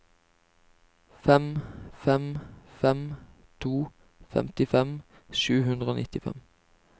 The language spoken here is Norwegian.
fem fem fem to femtifem sju hundre og nittifem